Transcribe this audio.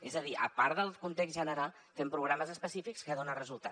és a dir a part del context general fem programes específics que donen resultat